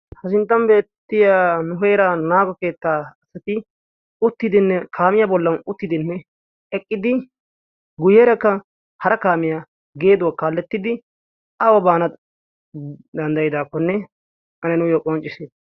ha sinttan beettiya nuheeraa naago keettaa asati uttidinne kaamiyaa bollan uttidinne eqqidi guyyeerakka hara kaamiyaa geeduwaa kaallettiddi awa baana danddayidakkonne ane nuuyo qanccisite.